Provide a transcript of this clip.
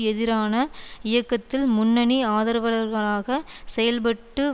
எதிரான இயக்கத்தில் முன்னணி ஆதரவளர்களாக செயல்பட்டு